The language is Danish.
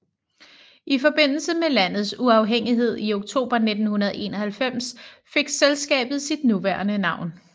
I forbindelse med landets uafhængighed i oktober 1991 fik selskabet sit nuværende navn